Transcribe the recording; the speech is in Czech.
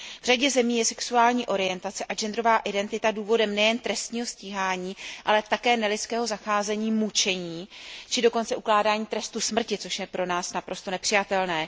V řadě zemí je sexuální orientace a genderová identita důvodem nejen trestního stíhání, ale také nelidského zacházení, mučení či dokonce ukládání trestu smrti, což je pro nás naprosto nepřijatelné.